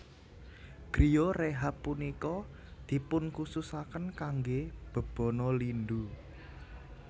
Griyo rehab punika dipunkhususaken kangge bebana lindu